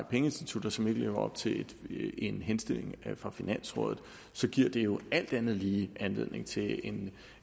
pengeinstitutter som ikke lever op til en henstilling fra finansrådet så giver det jo alt andet lige anledning til en